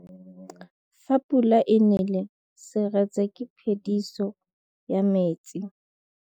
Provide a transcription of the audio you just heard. Fa pula e nelê serêtsê ke phêdisô ya metsi.